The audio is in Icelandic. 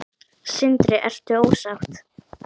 Sindri: Ertu ósátt?